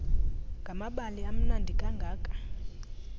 ngamabali amnandi kangaka